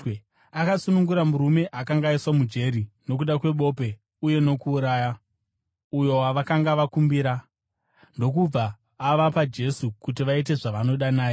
Akasunungura murume akanga aiswa mujeri nokuda kwebope uye nokuuraya, uyo wavakanga vakumbira, ndokubva avapa Jesu kuti vaite zvavanoda naye.